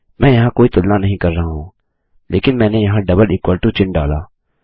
मैं यहाँ कोई तुलना नहीं कर रहा हूँ लेकिन मैंने यहाँ डबल इक्वल टू चिन्ह डाला